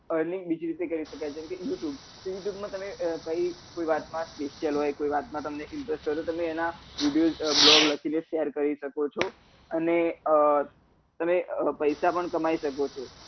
earning બીજી રીતે કરી સકાય જેમ કે youtube કોઈ વાતમાં તમને quetion હોય કોઈ વાત મા તમે interested હોય તો તમે એના news blog લખીને તમે share કરી શકો છો અને અ તમે પૈસા પણ કમાઈ શકો છો